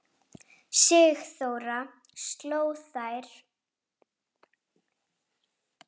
Klefinn var opinn.